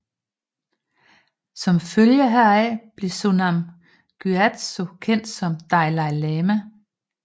Som følge heraf blev Sonam Gyatso kendt som Dalai Lama